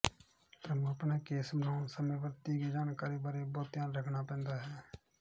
ਤੁਹਾਨੂੰ ਆਪਣਾ ਕੇਸ ਬਣਾਉਣ ਸਮੇਂ ਵਰਤੀ ਗਈ ਜਾਣਕਾਰੀ ਬਾਰੇ ਬਹੁਤ ਧਿਆਨ ਰੱਖਣਾ ਪੈਂਦਾ ਹੈ